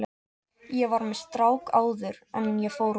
Ég var með strák áður en ég fór út.